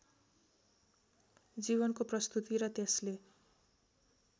जीवनको प्रस्तुति र त्यसले